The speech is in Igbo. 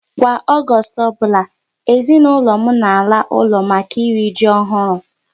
Kwa Ọgọọst ọbụla, ezinaụlọ m na ala ụlọ maka iri ji ọhụrụ